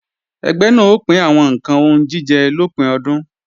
Ẹgbẹ́ náà ó pín àwọn ǹkan oúnjíjẹ lópin ọdún